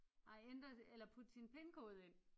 Ej eller putte sin pinkode ind